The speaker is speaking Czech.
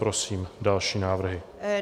Prosím další návrhy.